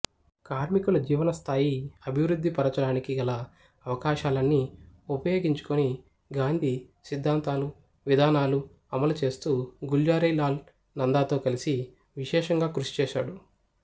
కార్మికుల జీవనస్థాయి అభివృద్ధిపరచడానికి గల అవకాశాలన్నీ ఉపయోగించుకొని గాంధీ సిద్ధాంతాలు విధానాలు అమలుచేస్తూ గుల్జారీలాల్ నందాతో కలిసి విశేషంగా కృషిచేశాడు